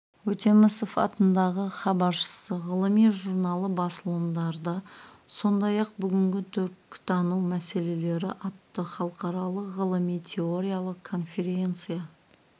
өтемісов атындағы хабаршысы ғылыми журналы басылымдарда сондай-ақ бүгінгі түркітану мәселелері атты халықаралық ғылыми-теориялық конференция